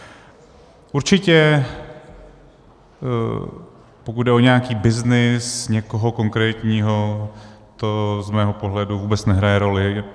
Určitě pokud jde o nějaký byznys někoho konkrétního, to z mého pohledu vůbec nehraje roli.